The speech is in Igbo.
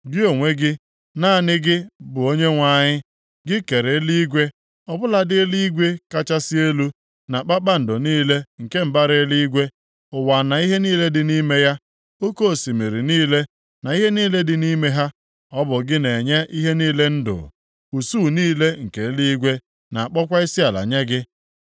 Gị onwe gị, naanị gị bụ Onyenwe anyị. Gị kere eluigwe, ọ bụladị eluigwe kachasị elu, na kpakpando niile nke mbara eluigwe, ụwa na ihe niile dị nʼime ya, oke osimiri niile na ihe niile dị nʼime ha. Ọ bụ gị na-enye ihe niile ndụ, usuu niile nke eluigwe na-akpọkwa isiala nye gị.